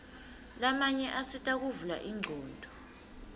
lamanye asita kuvula ingcondvo